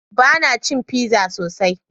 Bana cin pizza sosai.